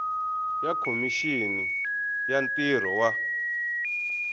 ya khomixini ya ntirho wa